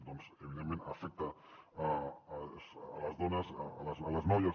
doncs evidentment afecta les dones les noies